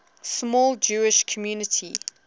small jewish community